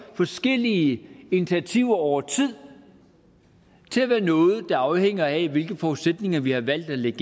forskellige initiativer over tid og til at være noget der afhænger af hvilke forudsætninger vi har valgt at lægge